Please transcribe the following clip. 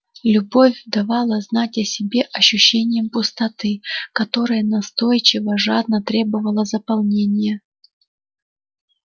любовь давала знать о себе ощущением пустоты которая настойчиво жадно требовала заполнения